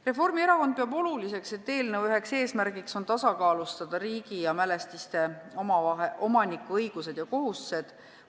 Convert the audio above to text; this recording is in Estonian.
Reformierakond peab oluliseks, et eelnõu üks eesmärke on tasakaalustada riigi ja mälestiste omanike õigused ja kohustused.